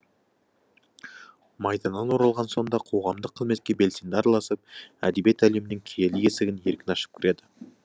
майданнан оралған соң да қоғамдық қызметке белсенді араласып әдебиет әлемінің киелі есігін еркін ашып кіреді